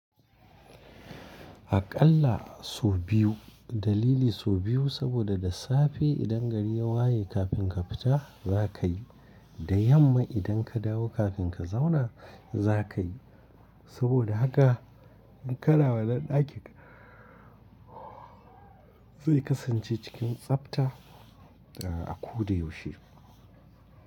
Aƙalla sau biyu, dalili su biyu saboda da safe idan gari ya waye kafin ka fita zaka yi, da yamma idan ka dawo kafin ka zauna za ka yi. Saboda haka in kana wannan ɗakin zai kasance cikin tsafta a koda yaushe.